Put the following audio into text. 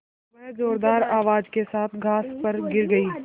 वह ज़ोरदार आवाज़ के साथ घास पर गिर गई